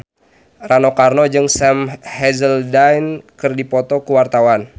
Rano Karno jeung Sam Hazeldine keur dipoto ku wartawan